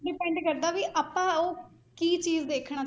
Depend ਕਰਦਾ ਵੀ ਆਪਾਂ ਉਹ ਕੀ ਚੀਜ਼ ਦੇਖਣਾ